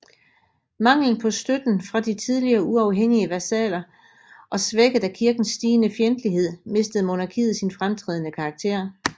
Manglen på støtten fra de tidligere uafhængige vasaller og svækket af Kirkens stigende fjendtlighed mistede monarkiet sin fremtrædende karakter